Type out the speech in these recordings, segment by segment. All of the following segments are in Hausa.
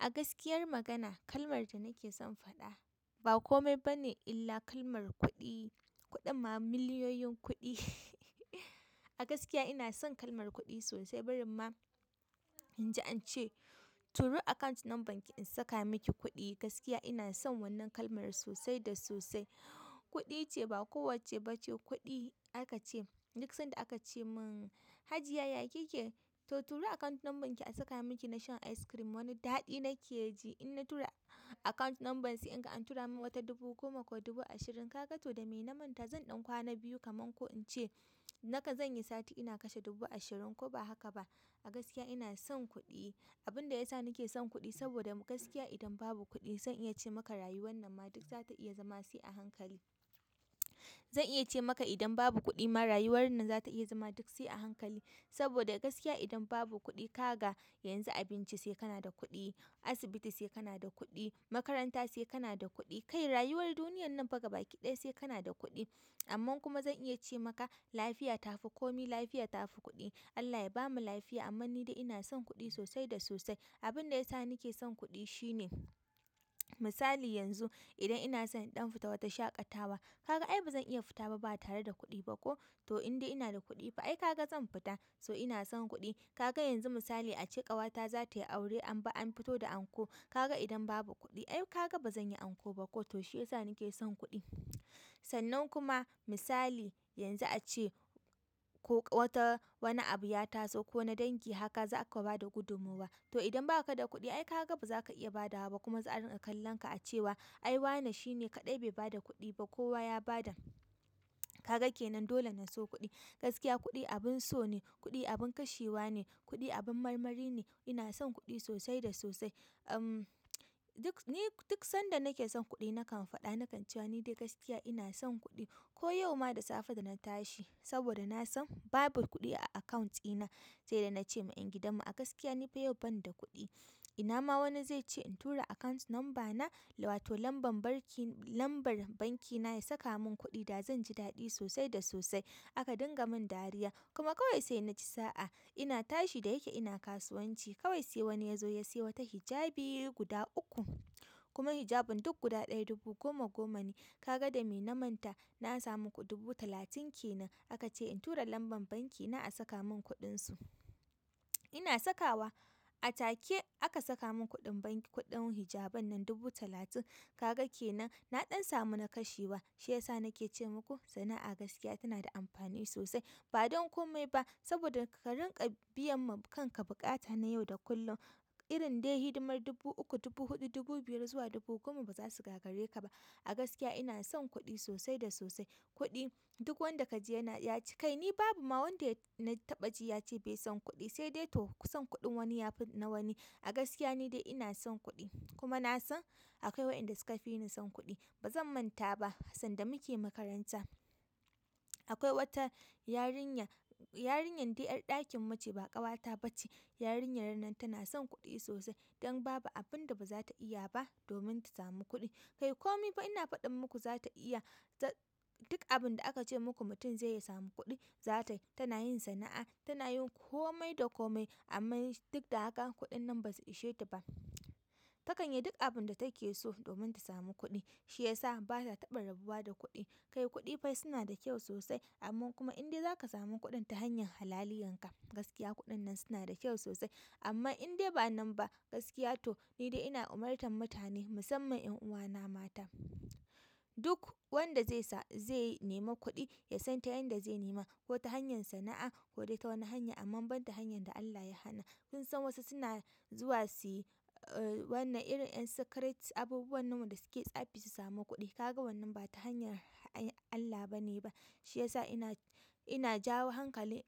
A gaskiyar magana kalmar da nakeson in faɗa, ba komai bane illa kalmar kuɗi. Kuɗin ma miliyoyin kuɗi. A gaskiya ina son kalmar kuɗi sosai. Barin ma in ji an ce turo account number ki in saka miki kuɗi. Gaskiya ina son wannan kalmar sosai da sosai. Kuɗi ce, ba kowacce ba ce kuɗi aka ce. Duk sanda aka ce min, Hajiya yakike to turo account number ki a saka miki na shan ice cream. Wani daɗi nake ji in na tura account number sai in ga an turamin wata dubu goma ko dubu ashirin. Kaga to da mai na manta, zan ɗan kwana biyu kaman ko in ce nakan zan yi sati ina kashe dubu ashirin ko ba haka ba. A gaskiya ina son kuɗi. Abin da ya sa nake son kuɗi saboda gaskiya idan babu kuɗi zan iya ce maka rayu wannan ma duk za ta iya zama sai a hankali. Zan iya ce maka idan babu kuɗi rayuwan nan za ta iya zama duk sai a hankali. Saboda gaskiya idan babu kuɗi kaga yanzu abinci sai kana da kuɗi, asibiti sai kana da kuɗi, makaranta sai kana da kuɗi. Kai rayuwar duniyar nan fa ga baki ɗaya sai kana da kuɗi. Amma kuma zan iya ce maka lafiya ta fi komi, lafiya ta fi kuɗi. Allah ya bamu lafiya amma ni dai ina son kuɗi sosai da sosai. Abin da ya sa nake son kuɗi shine misali yanzu idan ina son in ɗan fita wata shaƙatawa, kaga ai bazan iya fita ba tare da kuɗi ba ko? To in dai ina da kuɗi fa ai kaga zan fita. So ina son kuɗi. Kaga yanzu misali a ce ƙawata za ta yi aure anbi an fito da anko. Kaga idan babu kuɗi ai kaga bazan yi anko ba ko? To shiyasa nake son kuɗi. Sannan kuma misali yanzu a ce. Ko wata wani abu ya taso ko na dangi haka za aka ba da gudumowa. To idan ba ka da kuɗi ai kaga baza ka iya ba da wa ba kuma za a rinƙa kallon ka a ce wa ai wa ne shi ne kaɗai bai ba da kuɗi ba. Kowa ya ba da. Kaga kenan dole mj so kuɗi. Gaskiya kuɗi abin so ne, kuɗi abin kashewa ne, kuɗi abin marmari ne. Ina son kuɗi sosai da sosai. Uhm, duk ni duk sanda nake son kuɗi nakan faɗa, nakan cewa ni dai gaskiya ina son kuɗi. Ko yau ma da safe da na tashi saboda na san babu kuɗi a account dina sai da na ce ma en gidanmu a gaskiya ni bai yau ban da kuɗi. Ina ma wani zai ce in tura account number na wato lambar banki, lambar banki na ya saka mun kuɗi da zan ji daɗi sosai da sosai. Aka dinga mun dariya. Kuma kawai sai na ci sa'a. Ina tashi da yake ina kasuwanci, kawai sai wani yazo ya siya wata hijabi gudu uku. Kuma hijabin duk guda ɗaya dubu goma goma ne, kaga dame na manta na samu dubu talatin kenan. Aka ce in tura lambar banki na a saka mun kuɗin su. Ina sakawa. A take aka saka mun kuɗin banki, kuɗin hijaban nan dubu talatin. Kaga kenan na dan samu na kashewa. Shi ya sa nake ce muku sana'a gaskiya tana da amfani sosai. Ba don komai ba saboda ka rinƙa biyan ma kanka buƙata na yau da kullum. Irin dai hidimar dubu uku, dubu huɗu, dubu biyar zuwa dubu goma bazu gagareka ba. A gaskiya ina son kuɗi sosai da sosai. Kuɗi duk wanda kaji yana yace. Kai ni babu ma wanda na taɓa ji ya ce bai son kuɗi. Sai dai to son kuɗin wani ya fi na wani. A gaskiya ni dai ina son kuɗi. Kuma na san akwai waɗanda suka fi ni son kuɗi. Ba zan manta ba sanda muke makaranta akwai wata yarinya, yarinyar dai ƴar ɗakin muce ba ƙawata ba ce. Yarinyar nan tana son kuɗi sosai. Don babu abin da ba za ta iya ba domin ta samu kuɗi. Kai komai fa ina faɗin muku za ta iya ta duk abin da aka ce muku mutum zai samu kuɗi, za ta yi. Tana yin sana'a, tana yin komai da komai amma duk da haka kuɗin nan ba su ishe ta ba. Ta kanyi duk abin da take so domin ta samu kuɗi. Shi ya sa ba ta taɓa rabuwa da kuɗi. Kai kuɗi fa suna da kyau sosai, amma kuma in dai zaka samu kuɗin ta hanyar halaliyar ka, gaskiya kuɗin nan suna da kyau sosai. Amma in dai ba nan ba gaskiya to ni dai ina umartan mutane musamman ƴan uwana mata duk wanda zai sa zai nema kuɗi ya san ta yanda zai nema. Ko ta hanyar sana'a ko dai ta wani hanya amma ba ta hanyar da Allah ya hana. Kun san wasu suna zuwa su yi uhm, wannan irin ƴan secret abubuwan nan da suke tsafi su samu kuɗi. Kaga wannan ba ta hanyar Allah ba ne ba. Shi ya sa ina, ina jawo hankalin,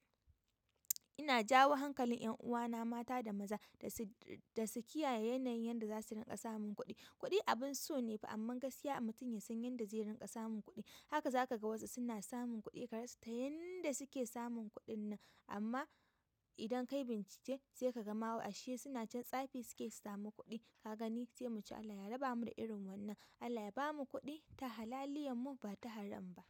ina jawo hankalin ƴan uwana mata da maza da su, da su kiyaye yanayin yanda za su rinƙa samun kuɗi. Kuɗi abin so ne fa amma gaskiya mutum ya san yanda zai rinƙa samun kuɗi. Haka za ka ga wasu suna samun kuɗi ka rasa ta yanda suke samun kuɗin nan. Amma idan kayi bincike sai ka ga ma wa ashe suna can tsafi suke yi samu kuɗi. Kaga ni sai mu Allah ya raba mu da irin wannan. Allah ya bamu kuɗi ta halaliyan mu ba ta haram ba.